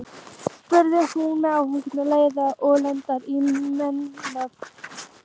spurði hún með áhuga, leiða og ertni í málrómnum.